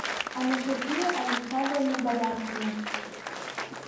анастасия александровна бояркина